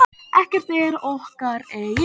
Ekkert er okkar eigið.